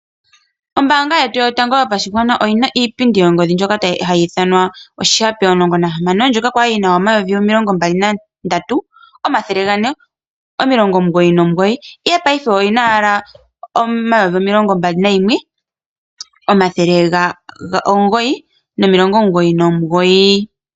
Oombanga yetu yotango yo pashigwana oyina iipindi yongodhi ndyoka hayi ithanwa oshihape omulongo nahamano ndyoka kwali yina omayovi omilongo mbali na ndatu omathele gane no milongo omugoyi no mugoyi ihe opaife oyina owala omayovi omilongo mbali nayimwe omathele omugoyi nomilongo omugoyi nomugogi.